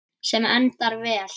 Sem endar vel.